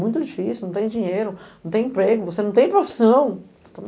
Muito difícil, não tem dinheiro, não tem emprego, você não tem profissão.